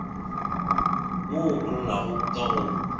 wo o llago ka go